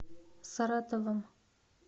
саратовом